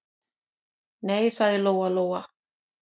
Nei, sagði Lóa-Lóa.